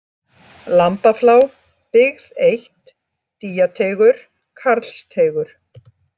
Lambaflá, Bygg 1, Dýjateigur, Karlsteigur